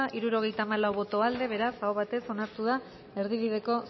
hirurogeita hamalau boto aldekoa beraz aho batez onartu da erdibideko